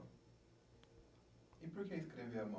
E por que escrever à mão?